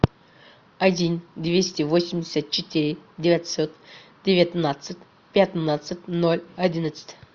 один двести восемьдесят четыре девятьсот девятнадцать пятнадцать ноль одиннадцать